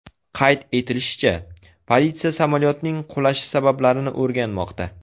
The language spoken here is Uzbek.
Qayd etilishicha, politsiya samolyotning qulashi sabablarini o‘rganmoqda.